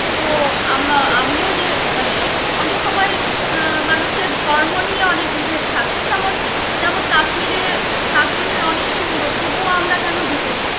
তো আম~ আমিও যে মানে অনেক সময় আহ মানুষের ধর্ম নিয়ে অনেক বিভেদ থাকে যেমন যেমন কাশ্মীরে কাশ্মীর অনেক সুন্দর তবুও আমরা কেন যেতে